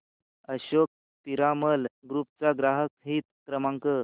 Ashok Piramal group चा ग्राहक हित क्रमांक